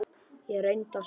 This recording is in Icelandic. Ég reyndi að sofa.